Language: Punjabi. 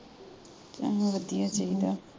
ਵਧਿਆ ਚਾਹੀਦਾ